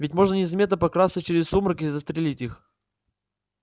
ведь можно незаметно прокрасться через сумрак и застрелить их